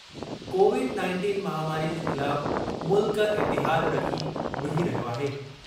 Covid nineteen महामारी जे ख़िलाफ़ मुल्क इतिहाद रखी विढ़ी रहियो आहे।